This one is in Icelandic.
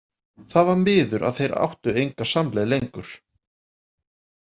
Það var miður að þeir áttu enga samleið lengur.